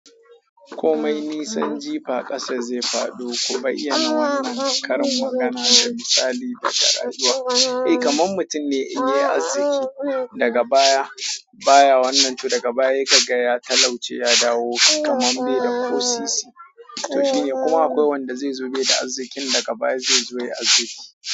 Komai nisan jifa ƙasa zai faɗo. Ku bayyana na wannan karin magana da misali daga rayuwa. Eh, kamar mutum ne in ya yi azziki daga baya, baya wannan, to daga baya ya kaga ya talauce, ya dawo kaman bai da ko sisi. To, shi ne kuma, akwai wanda zai so, bai da arziki daga baya sai zo ya yi arziki.